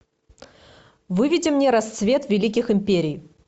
выведи мне рассвет великих империй